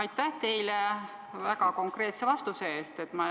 Aitäh teile väga konkreetse vastuse eest!